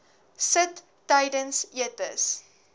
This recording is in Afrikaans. sit tydens etes